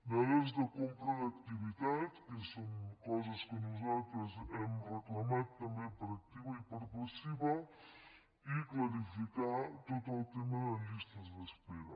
dades de compra d’activitat que són coses que nosaltres hem reclamat també per activa i per passiva i clarificar tot el tema de llistes d’espera